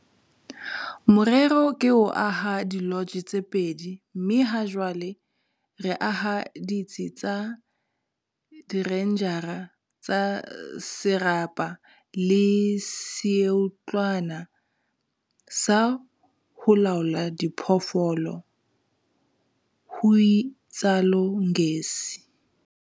"Morero ke ho aha dilotje tse pedi mme hajwale re aha ditsi tsa direnjara tsa serapa le seotlwana sa ho laollela diphoofolo," ho itsalo Ngesi.